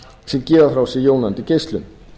sem gefa frá sér jónandi geislun